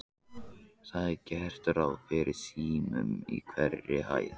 Það er gert ráð fyrir símum á hverri hæð.